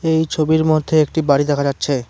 এই ছবির মধ্যে একটা বাড়ি দেখা যাচ্ছে।